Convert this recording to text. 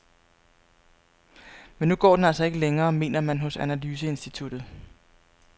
Men nu går den altså ikke længere, mener man hos analyseinstituttet.